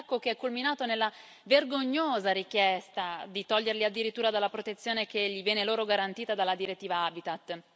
Un attacco che è culminato nella vergognosa richiesta di toglierli addirittura dalla protezione che viene loro garantita dalla direttiva Habitat.